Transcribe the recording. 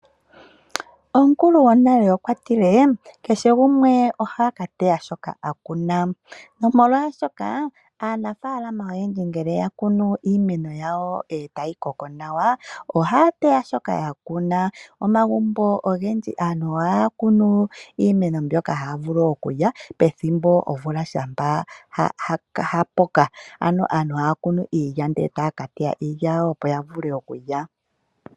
Omukulu gwonale okwa tile kehe gumwe ohaka teya shoka a kuna nomolwashoka aanafalama oyendji ngele ya kunu iimeno yawo etayi koko nawa ohaya tewa shoka ya kuna. Momagumbo ogendji aantu ohaya kunu iimeno mbyoka haya vulu okulya pethimbo omvula shampa ya kuka aantu haya kunu iilya etaya ka teya iilya yawo opo ya vule okulya.